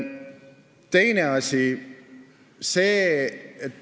Teine asi.